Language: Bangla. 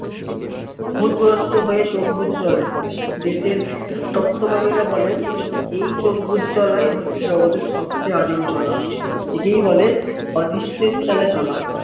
ভুত গ্রস্ত হয়ে চোখ বুজে চলে দেশের তত্ত্বকামী রা বলেন এই চোখ বুজে চলাই হচ্ছে জগতের সবচেয়ে আদিম চলা একেই বলে অদৃষ্টির চলে চলা